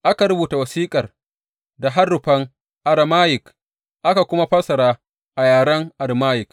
Aka rubuta wasiƙar da harufan Arameyik, aka kuma fassara ta a yaren Arameyik.